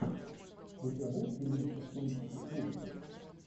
у тебя будет фильмище в стилистике ужасов